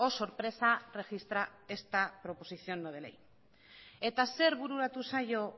sorpresa registra esta proposición no de ley eta zer bururatu zaio